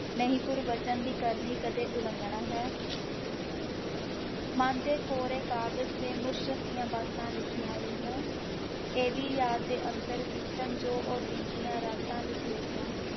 ਨਹੀਂ ਗੁਰਬਚਨ ਦੀ ਕਰਨੀ ਕਦੇ ਉਲੰਘਣਾ ਹੈ ਮਨ ਦੇ ਕੋਰੇ ਕਾਗਜ਼ ਤੇ ਮੁਰਸ਼ਦ ਦੀਆਂ ਬਾਤਾਂ ਲਿਖੀਆਂ ਲਈਆਂ, ਇਹਦੀ ਯਾਦ ਦੇ ਅੰਦਰ ਬੀਤਣ ਜੋ ਉਹ ਦਿਨ ਦੀ ਰਾਤਾਂ ਲਿਖ ਲਈਏ।